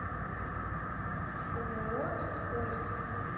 ооо эксполес